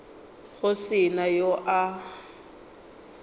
go se na yo a